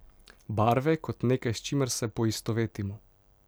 Barve kot nekaj, s čimer se poistovetimo.